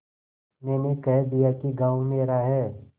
मैंने कह दिया कि गॉँव मेरा है